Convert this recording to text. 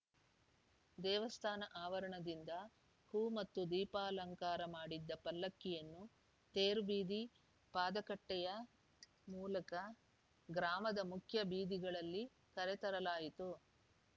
ದೇವಸ್ಥಾನ ಆವರಣದಿಂದ ಹೂ ಮತ್ತು ದೀಪಾಲಂಕಾರ ಮಾಡಿದ್ದ ಪಲ್ಲಕ್ಕಿಯನ್ನ ತೇರು ಬೀದಿ ಪಾದಗಟ್ಟೆಯ ಮೂಲಕ ಗ್ರಾಮದ ಮುಖ್ಯ ಬೀದಿಗಳಲ್ಲಿ ಕರೆತರಲಾಯಿತು